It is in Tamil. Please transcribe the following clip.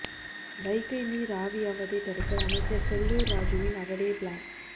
வைகை நீர் ஆவியாவதை தடுக்க அமைச்சர் செல்லூர் ராஜூவின் அடடே ப்ளான்